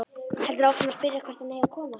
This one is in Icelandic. Heldur áfram að spyrja hvert hann eigi að koma.